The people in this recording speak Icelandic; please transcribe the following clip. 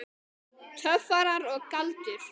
Töfrar og galdur.